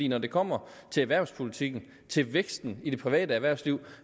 når det kommer til erhvervspolitikken til væksten i det private erhvervsliv